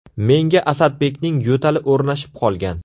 Menga Asadbekning yo‘tali o‘rnashib qolgan.